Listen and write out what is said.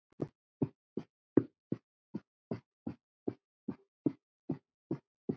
Þeim boðum hlýtt.